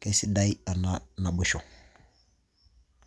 keisidai ena naboisho.